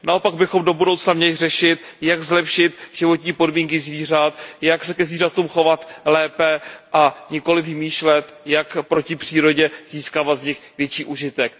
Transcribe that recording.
Naopak bychom do budoucna měli řešit, jak zlepšit životní podmínky zvířat, jak se ke zvířatům chovat lépe, a nikoliv vymýšlet, jak proti přírodě získávat z nich větší užitek.